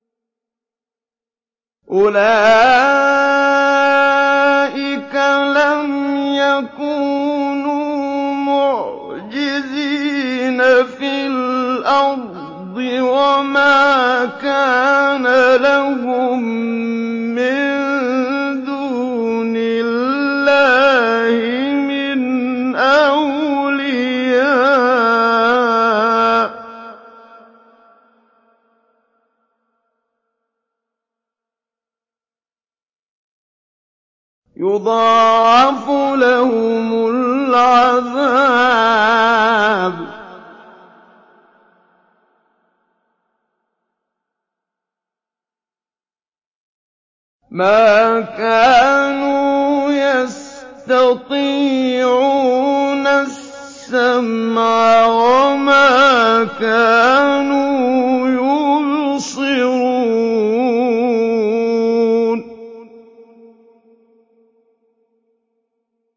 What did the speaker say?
أُولَٰئِكَ لَمْ يَكُونُوا مُعْجِزِينَ فِي الْأَرْضِ وَمَا كَانَ لَهُم مِّن دُونِ اللَّهِ مِنْ أَوْلِيَاءَ ۘ يُضَاعَفُ لَهُمُ الْعَذَابُ ۚ مَا كَانُوا يَسْتَطِيعُونَ السَّمْعَ وَمَا كَانُوا يُبْصِرُونَ